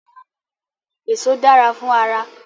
Èso dára fún ara